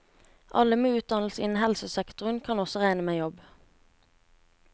Alle med utdannelse innen helsesektoren kan også regne med jobb.